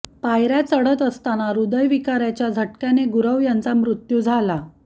पायऱ्या चढत असताना ह्रदयविकाराच्या झटक्याने गुरव यांचा मृत्यू झाला